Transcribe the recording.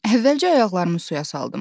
Əvvəlcə ayağımı suya saldım.